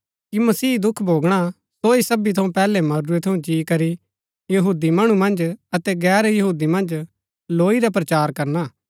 कि मसीह दुख भोगणा सो ही सबी थऊँ पैहलै मरूरै थऊँ जी करी यहूदी मणु मन्ज अतै गैर यहूदी मन्ज लौई रा प्रचार करना